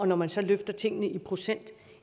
når man så løfter tingene i procent